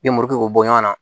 Den muru k'o bɔ ɲɔgɔn na